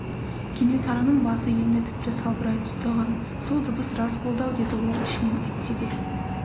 кенесарының басы енді тіпті салбырай түсті ған сол сыбыс рас болды-ау деді ол ішінен әйтсе де